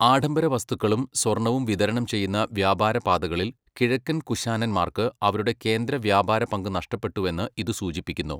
ആഢംബര വസ്തുക്കളും സ്വർണ്ണവും വിതരണം ചെയ്യുന്ന വ്യാപാര പാതകളിൽ കിഴക്കൻ കുശാൻമാർക്ക് അവരുടെ കേന്ദ്ര വ്യാപാര പങ്ക് നഷ്ടപ്പെട്ടുവെന്ന് ഇത് സൂചിപ്പിക്കുന്നു.